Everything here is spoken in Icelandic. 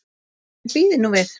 En bíðið nú við.